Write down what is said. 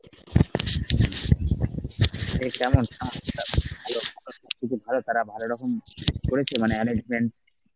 এ কেমন তারা ভাল রকম করেছে মানে arrangement?